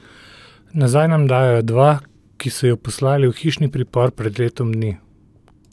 Nazaj nam dajejo dva, ki so ju poslali v hišni pripor pred letom dni.